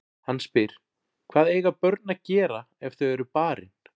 Hann spyr: Hvað eiga börn að gera ef þau eru barin?